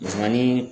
Misigɛnni